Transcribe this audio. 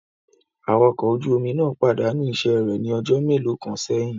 Awakọ̀ ọkọ ojú omi náà pàdánù iṣẹ́ rẹ̀ ní ọjọ́ mélòó kan sẹ́yìn